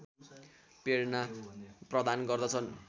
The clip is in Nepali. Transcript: प्रेरणा प्रदान गर्दछन्